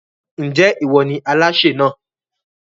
Ń jẹ́ ìwọ ni Aláṣẹ náà?